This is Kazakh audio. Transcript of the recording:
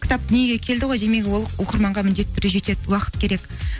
кітап дүниеге келді ғой демек ол оқырманға міндетті түрде жетеді уақыт керек